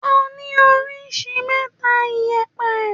À ni òríṣì mẹta ìyépẹ.